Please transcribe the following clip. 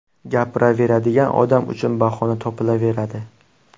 Gapiradigan odam uchun bahona topilaveradi.